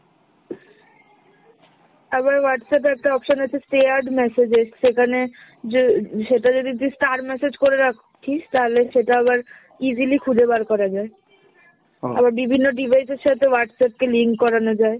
আবার Whatsapp এ একটা option আছে shared messages, সেখানে যে সেটা যদি তুই star message করে রাখিস তাহলে সেটা আবার easily খুজে বার করা যায়। আবার বিভিন্ন device এর সাথে Whatsapp কে link করানো যায়।